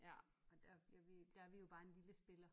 ja men der ja vi der vi jo bare en lille spiller